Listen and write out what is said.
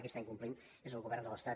qui incompleix és el govern de l’estat